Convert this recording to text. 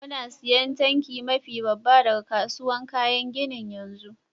Muna siyan tanki mafi babba daga kasuwan kayan ginin yanzu.